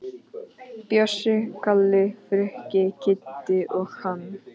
Bjössi, Kalli, Frikki, Kiddi og hann.